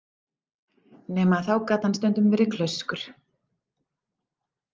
Nema að þá gat hann stundum verið klaufskur.